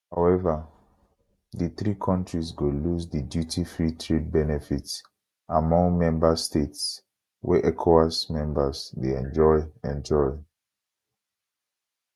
however di three kontris go lose di dutyfree trade benefits among member states wey ecowas members dey enjoy enjoy